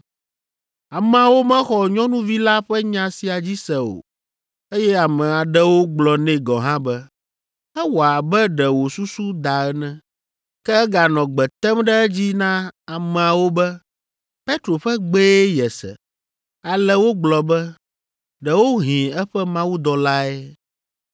Ameawo mexɔ nyɔnuvi la ƒe nya sia dzi se o eye ame aɖewo gblɔ nɛ gɔ̃ hã be, “Ewɔ abe ɖe wò susu da ene.” Ke eganɔ gbe tem ɖe edzi na ameawo be Petro ƒe gbee yese. Ale wogblɔ be, “Ɖewohĩ eƒe mawudɔlae.”